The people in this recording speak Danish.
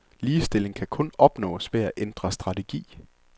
Ligestilling kan kun opnås ved at ændre strategi.